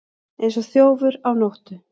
Eins og þjófur á nóttu